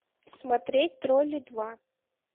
смотреть тролли два